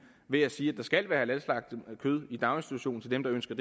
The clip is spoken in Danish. ved at sige at der skal være halalslagtet kød i daginstitutionen til dem der ønsker